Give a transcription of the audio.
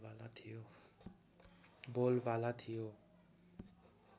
बोलबाला थियो